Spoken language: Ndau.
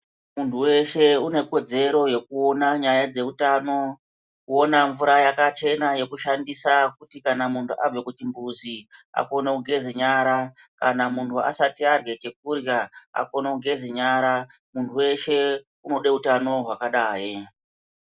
Muntu weshe une kodzero yekuona nyaya dzeutano kuona mvura yakachena yekushandisa kuti kana muntu abva kuchimbuzi akone kugeza nyara kana muntu asati arye chekurya akone kugeze nyara muntu weshe unode utano hwakadai